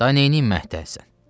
Da neyniyim məhtəlsən.